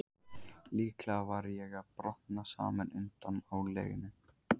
Líklega var ég að brotna saman undan álaginu.